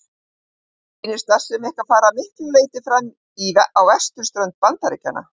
Mér sýnist starfsemi ykkar fara að miklu leyti fram á vesturströnd Bandaríkjanna.